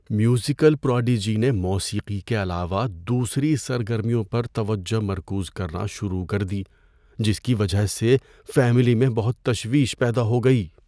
Musical prodigy نے موسیقی کے علاوہ دوسری سرگرمیوں پر توجہ مرکوز کرنا شروع کر دی جس کی وجہ سے فیملی میں بہت تشویش پیدا ہو گئی۔